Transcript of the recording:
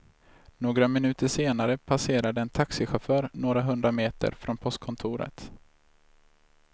Några minuter senare passerade en taxichaufför några hundra meter från postkontoret.